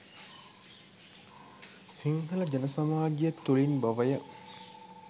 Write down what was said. සිංහල ජන සමාජය තුළින් බවය.